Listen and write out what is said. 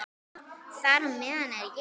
Þar á meðal er ég.